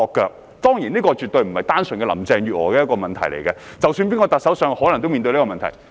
這當然絕非單純是林鄭月娥的問題，因為無論由誰擔任特首，均可能面對相同問題。